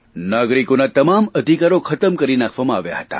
નાગરિકોના તમામ અધિકારો ખતમ કરી નાખવામાં આવ્યા હતા